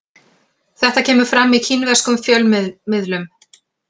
Þetta kemur fram í kínverskum fjölmiðlum